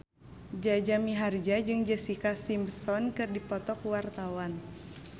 Jaja Mihardja jeung Jessica Simpson keur dipoto ku wartawan